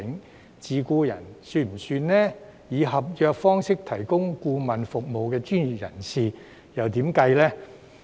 是否包括自僱人士或以合約方式提供顧問服務的專業人士呢？